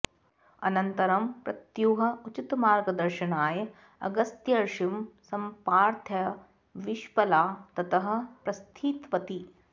अनन्तरं पत्युः उचितमार्गदर्शनाय अगस्त्यर्षिं सम्प्रार्थ्य विश्पला ततः प्रस्थितवती